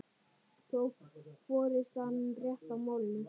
Tók forystan rétt á málinu?